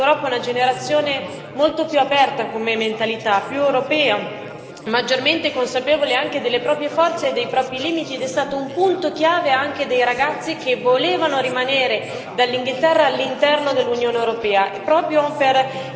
molto più aperta come mentalità, più europea, maggiormente consapevole anche delle proprie forze e dei propri limiti, ed è stato un punto chiave anche dei ragazzi che volevano rimanere dall'Inghilterra all'interno dell'Unione europea, e proprio per il tema Erasmus.